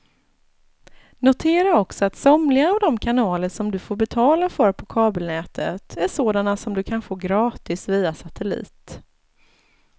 Notera också att somliga av de kanaler som du får betala för på kabelnätet är sådana som du kan få gratis via satellit.